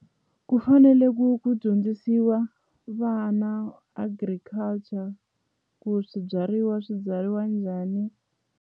Ku fanele ku ku dyondzisiwa vana agriculture ku swibyariwa swi byariwa njhani.